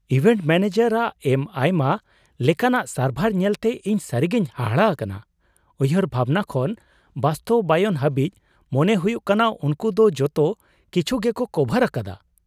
Event manager ᱟᱜ ᱮᱢ ᱟᱭᱢᱟ ᱞᱮᱠᱟᱱᱟᱜ ᱥᱟᱨᱵᱷᱟᱨ ᱧᱮᱞᱛᱮ ᱤᱧ ᱥᱟᱹᱨᱤᱜᱮᱧ ᱦᱟᱦᱟᱲᱟ ᱟᱠᱟᱱᱟ ᱼ ᱩᱭᱦᱟᱹᱨ ᱵᱷᱟᱵᱽᱱᱟ ᱠᱷᱚᱱ ᱵᱟᱥᱛᱚᱵᱟᱭᱚᱱ ᱦᱟᱹᱵᱤᱡ, ᱢᱚᱱᱮ ᱦᱩᱭᱩᱜ ᱠᱟᱱᱟ ᱩᱱᱠᱩ ᱫᱚ ᱡᱚᱛᱚ ᱠᱤᱪᱷᱩ ᱜᱮᱠᱚ ᱠᱚᱵᱷᱟᱨ ᱟᱠᱟᱫᱟ !